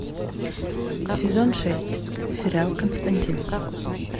сезон шесть сериал константин